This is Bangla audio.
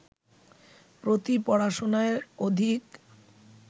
প্রতি পড়াশুনায় অধিক